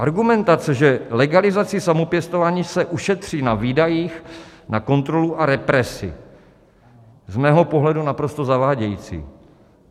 Argumentace, že legalizací samopěstování se ušetří na výdajích na kontrolu a represi: z mého pohledu naprosto zavádějící.